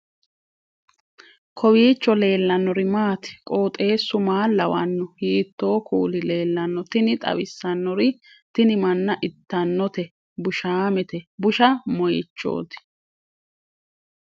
kowiicho leellannori maati ? qooxeessu maa lawaanno ? hiitoo kuuli leellanno ? tini xawissannori tini manna itanote bushaamete busha moyichooti